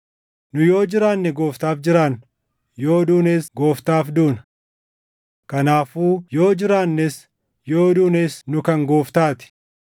Nu yoo jiraanne Gooftaaf jiraanna; yoo duunes Gooftaaf duuna. Kanaafuu yoo jiraannes yoo duunes nu kan Gooftaa ti.